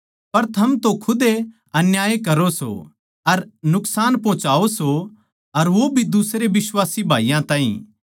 पर थम तो खुदे अन्याय करो सों अर नुकसान पोहोचाओ सो अर वो भी दुसरे बिश्वासी भाईयाँ ताहीं